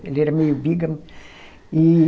Ele era meio bígamo e